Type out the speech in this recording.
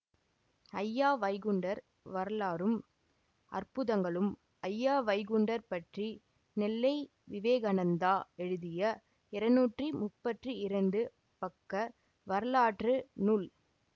அய்யா வைகுண்டர் வரலாறும் அற்புதங்களும் அய்யா வைகுண்டர் பற்றி நெல்லை விவேகநந்தா எழுதிய இருநூற்றி முப்பத்தி இரண்டு பக்க வரலாற்று நூல்